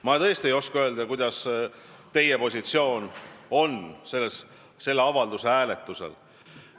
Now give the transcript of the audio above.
Ma tõesti ei oska öelda, milline on teie positsioon selle avalduse hääletusel.